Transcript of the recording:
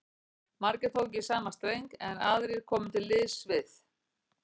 Margir tóku í sama streng, en aðrir komu til liðs við